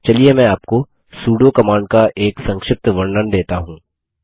चलिए मैं आपको सुडो कमांड का एक संक्षिप्त वर्णन देता हूँ